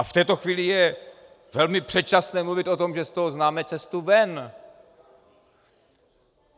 A v této chvíli je velmi předčasné mluvit o tom, že z toho známe cestu ven.